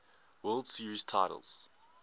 world series titles